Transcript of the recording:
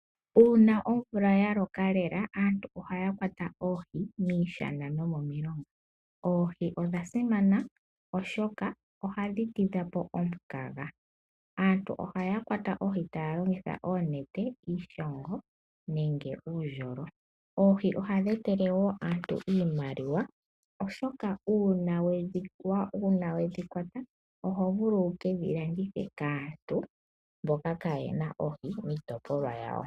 Uuna nomvula ya koka lela aantu ohaya kwata oohi miishana nomomilonga, oohi odha simana oshoka oha dhi tidhapo omukaga aantu ohaa kwata oohi taalongitha oonete, iishongo nenge eendjolo. oohi ohadhi etele aantu iimaliwa oshoka uuna we dhi kwata oto vulu oku landitha kwaamboka kayena oohi miitopolwa yawo.